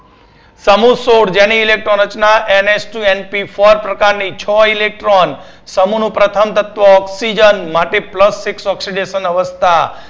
સમુહ સોળ જેની electron રચના NS two NP four પ્રકારની છે. electron સમુહનું પ્રથમ તત્વ oxygen માટે plus six અવસ્થા